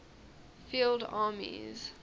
field armies